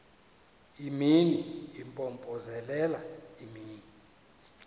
imini impompozelela imini